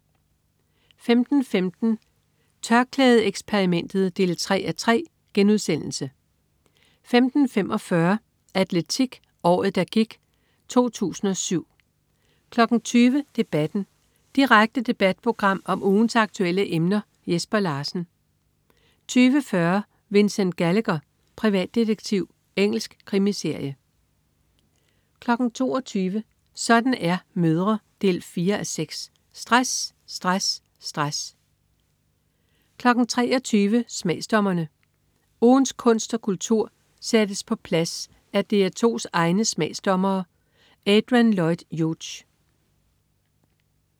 15.15 TørklædeXperimentet 3:3* 15.45 Atletik: Året der gik 2007 20.00 Debatten. Direkte debatprogram om ugens aktuelle emner. Jesper Larsen 20.40 Vincent Gallagher, privatdetektiv. Engelsk krimiserie 22.00 Sådan er mødre 4:6. Stress, stress, stress 23.00 Smagsdommerne. Ugens kunst og kultur sættes på plads af DR2's egne smagsdommere. Adrian Lloyd Hughes